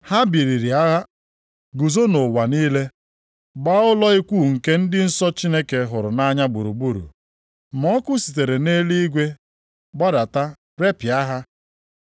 Ha biliri agha guzo nʼụwa niile, gbaa ụlọ ikwu nke ndị nsọ Chineke hụrụ nʼanya gburugburu. Ma ọkụ sitere nʼeluigwe gbadata repịa ha.